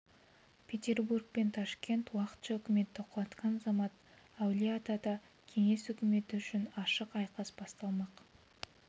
петербург пен ташкент уақытша үкіметті құлатқан замат әулие-атада кеңес өкіметі үшін ашық айқас басталмақ